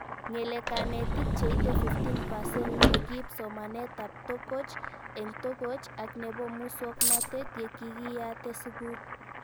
Ng'ele kanetik cheite 15% ko kiip somanet ab tokoch eng'tokoch ak nepo muswognatet ye kikiyate sukul